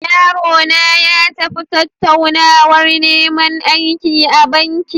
Yarona ya tafi tattaunawar neman aiki a banki.